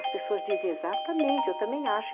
As pessoas dizem exatamente, eu também acho.